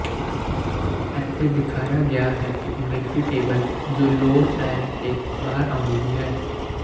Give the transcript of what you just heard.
ਇੱਥੇ ਦਿਖਾਇਆ ਗਿਆ ਹੈ ਇੱਕ ਮਿਰਫੀ ਟੇਬਲ ਜੋ ਲੋੜ ਪੈਣ ਤੇ ਬਾਹਰ ਆਉਂਦੀ ਹੈ